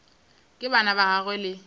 ka bana ba gagwe le